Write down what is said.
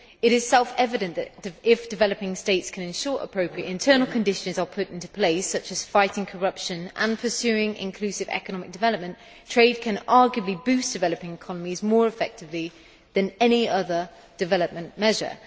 It is self evident that, if developing states can ensure that appropriate internal conditions are put into place, such as fighting corruption and pursuing inclusive economic development, trade can arguably boost developing economies more effectively than any other development measure.